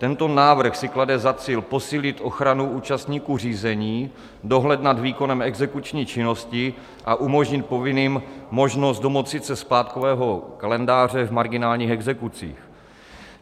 Tento návrh si klade za cíl posílit ochranu účastníků řízení, dohled nad výkonem exekuční činnosti a umožnit povinným možnost domoci se splátkového kalendáře v marginálních exekucích.